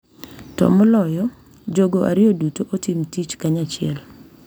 To moloyo, jogo ariyo duto otim tich kanyachiel .